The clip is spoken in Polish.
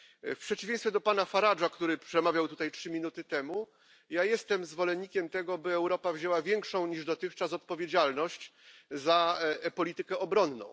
W przeciwieństwie do pana Farage'a, który przemawiał tutaj trzy minuty temu, ja jestem zwolennikiem tego, by Europa wzięła większą niż dotychczas odpowiedzialność za politykę obronną.